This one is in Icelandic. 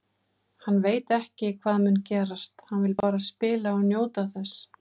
Hann veit ekki hvað mun gerast, hann vill bara spila og njóta þess.